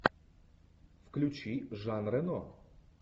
включи жан рено